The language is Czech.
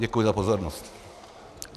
Děkuji za pozornost.